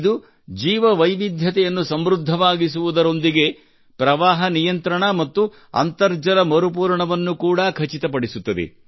ಈ ಜೀವವೈವಿಧ್ಯವನ್ನು ಸಮೃದ್ಧವಾಗಿಸುವುದರೊಂದಿಗೆ ಇದು ಪ್ರವಾಹ ನಿಯಂತ್ರಣ ಮತ್ತು ಅಂತರ್ಜಲ ಮರುಪೂರಣವನ್ನು ಕೂಡಾ ಖಚಿತ ಪಡಿಸುತ್ತದೆ